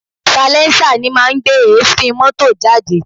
Salẹńsà ni máa ń gbé èéfín mọ́tò jáde